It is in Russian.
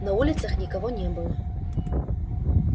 на улицах никого не было